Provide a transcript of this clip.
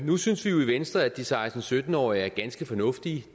nu synes vi jo i venstre at de seksten til sytten årige er ganske fornuftige